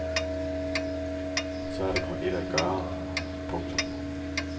Så er der kun ét at gøre. punktum